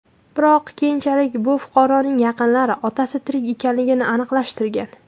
Biroq keyinchalik bu fuqaroning yaqinlari otasi tirik ekanligini aniqlashtirgan.